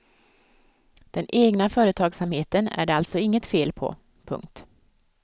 Den egna företagsamheten är det alltså inget fel på. punkt